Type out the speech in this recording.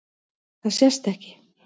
Það sést ekki.